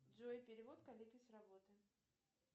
джой перевод коллеге с работы